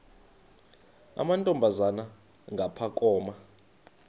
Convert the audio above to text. amantombazana ngapha koma